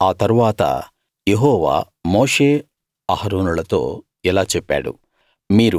ఆ తరువాత యెహోవా మోషే అహరోనులతో ఇలా చెప్పాడు